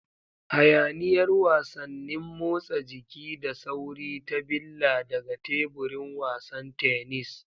Hayaniyar wasannin motsa jiki da sauri ta billa daga teburin wasan tennis.